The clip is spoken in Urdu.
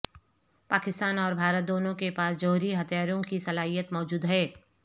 پاکستان اور بھارت دونوں کے پاس جوہری ہتھیاروں کی صلاحیت موجود ہے